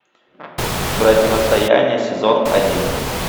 противостояние сезон один